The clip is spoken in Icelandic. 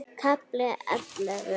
KAFLI ELLEFU